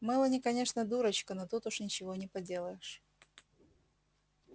мелани конечно дурочка но тут уж ничего не поделаешь